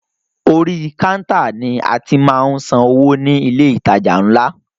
Orí kántà ni a ti máa ń san owó ní ilé ìtajà ńlá.